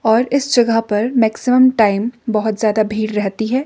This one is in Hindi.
और इस जगह पर मैक्सिमम टाइम बहोत ज्यादा भीड़ रहती है।